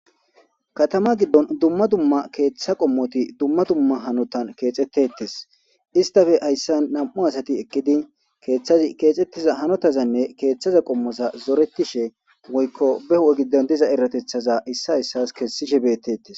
Katama giddon dumma dumma keeththa qommoti dumma dumma hanotan keexettettes. Istafe hayssa nam7u asati ekkidi keeththazi keexettiza hanotazanne keeththaza qommoza zoretishe woykko behu7e giddon diza eratethaza issa issas kessishe beettettees.